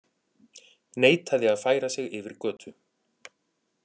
Neitaði að færa sig yfir götu